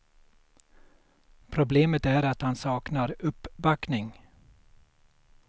Problemet är att han saknar uppbackning.